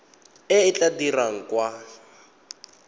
e e tla dirwang kwa